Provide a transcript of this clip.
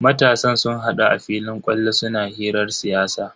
Matasan sun hadu a filin kwallo suna hirar siyasa.